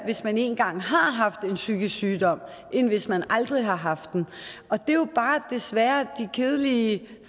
hvis man en gang har haft en psykisk sygdom end hvis man aldrig har haft den og det er jo bare desværre de kedelige